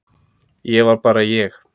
Ég var bara ég.